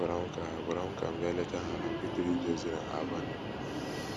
Ha gwara m ka gwara m ka m bịa leta ha, nakwa ịtụle ije ozi na Albania.